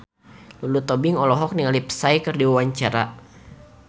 Lulu Tobing olohok ningali Psy keur diwawancara